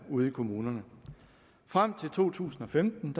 ude i kommunerne frem til to tusind og femten